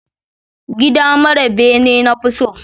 Gida mara bene na fi so